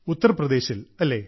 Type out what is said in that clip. ഉത്തർപ്രദേശിൽ അല്ലേ